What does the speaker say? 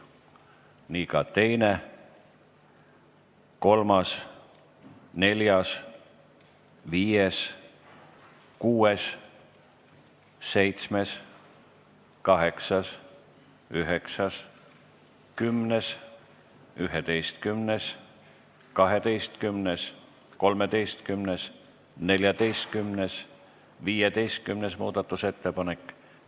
Nii ka 2., 3., 4., 5., 6., 7., 8., 9., 10., 11., 12., 13., 14. ja 15. muudatusettepanek.